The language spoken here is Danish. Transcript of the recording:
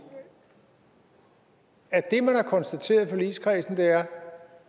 at det man har konstateret i forligskredsen er